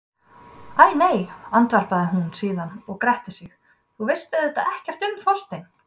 Æ nei, andvarpar hún síðan og grettir sig, þú veist auðvitað ekki um Þorstein.